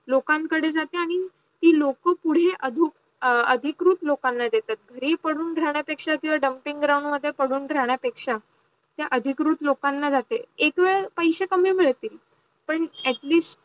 लोकांकडे जाते आणी ते लोक पुढे अधून अधिकृत् लोकांना देतात घरी पडून राहणार पेक्षा किव्वा dumping ground वर पडून राहणार पेक्षा त्या अधिकृत् लोकांना जाते एकवेद पैसे कमी मिडतील पण atleast